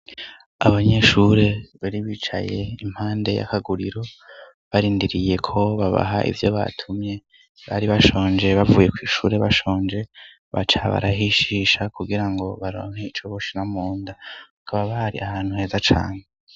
Abanyeshuri bari bicaye impande y'akaguriro barindiriye ko babaha ivyo batumye, bari bashonje bavuye kw'ishure bashonje, baca barahishisha kugirango baronke ico boshira munda, bakaba bari ahantu heza cane.